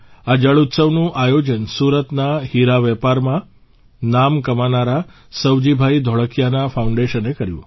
આ જળઉત્સવનું આયોજન સુરતના હીરાવેપારમાં નામ કમાનારા સવજીભાઇ ધોળકિયાના ફાઉન્ડેશને કર્યું